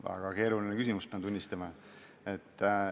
Väga keeruline küsimus, pean tunnistama.